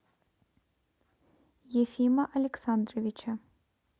ефима александровича